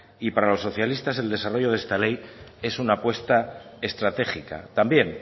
y para los socialistas el desarrollo de esta ley es una apuesta estratégica también